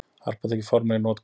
Harpa tekin formlega í notkun